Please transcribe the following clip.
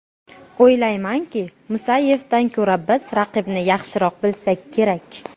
O‘ylaymanki, Musayevdan ko‘ra biz raqibni yaxshiroq bilsak kerak.